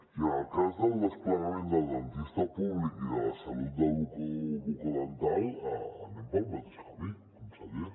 i en el cas del desplegament del dentista públic i de la salut bucodental anem pel mateix camí conseller